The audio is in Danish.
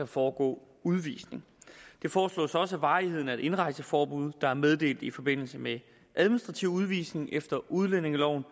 foregå udvisning det foreslås også at varigheden af et indrejseforbud der er meddelt i forbindelse med administrativ udvisning efter udlændingelovens